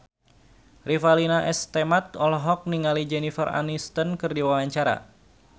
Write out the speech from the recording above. Revalina S. Temat olohok ningali Jennifer Aniston keur diwawancara